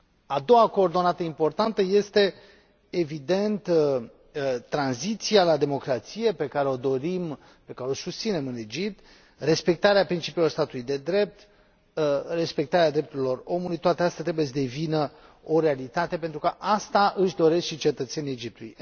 A doua coordonată importantă este, evident, tranziția la democrație, pe care o dorim, pe care o susținem în Egipt, respectarea principiilor statului de drept, respectarea drepturilor omului toate acestea trebuie să devină o realitate pentru că asta își doresc și cetățenii Egiptului.